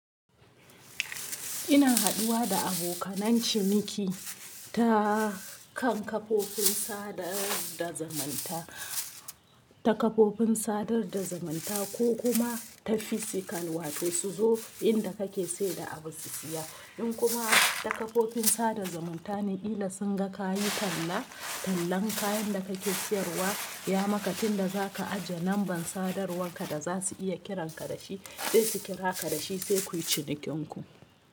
Ina haduwa da abokanan ciniki ta kan kafofin sadar da zumanta, ta kafofin sadar da zumanta ko kuma ta physical wato su zo inda kake saida abu su siya. In kuma ta kafofin sadar zamanta ne kila sun ga kayi tallan kayan da kake siyarwa, ya maka tun da za ka ajiye lambar sadar wanka da za su iya kiran ka dashi dai su kira ka dashi sai kuyi cinikin ku.